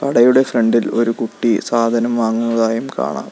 കടയുടെ ഫ്രണ്ട് ഇൽ ഒരു കുട്ടി സാധനം വാങ്ങുന്നതായും കാണാം.